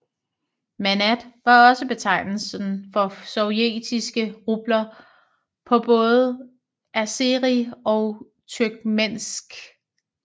Manat var også betegnelsen for sovjetiske rubler på både azeri og turkmensk